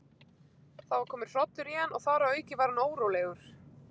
Það var kominn hrollur í hann, og þar að auki var hann órólegur.